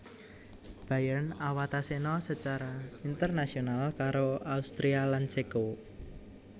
Bayern awatasena secara internasional karo Austria lan Ceko